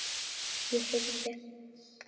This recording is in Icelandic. Ég heyrði